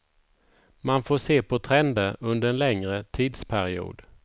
Man får se på trender under en längre tidsperiod.